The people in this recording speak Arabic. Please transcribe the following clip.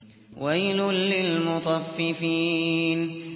وَيْلٌ لِّلْمُطَفِّفِينَ